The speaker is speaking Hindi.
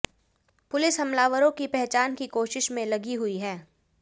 पुलिस हमलावरों की पहचान की कोशिश में लगी हुई है